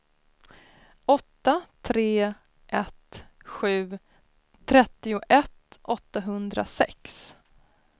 åtta tre ett sju trettioett åttahundrasex